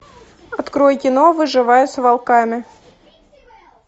открой кино выживая с волками